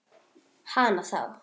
Hana þá.